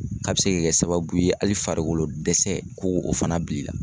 A bɛ se ka kɛ sababu ye hali farikolo dɛsɛ ko k'o fana bil'i la.